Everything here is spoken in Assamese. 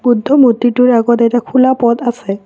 বুদ্ধ মূৰ্ত্তিটোৰ আগত এটা খোলা পদ আছে।